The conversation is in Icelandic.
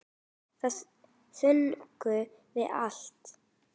Það fengum við alltaf.